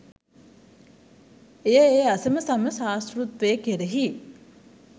එය ඒ අසමසම ශාස්තෘත්වය කෙරෙහි